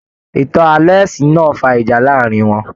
Ìtàn ààlọ́ ẹ̀sìn náà fà ìjà láàrin wọn.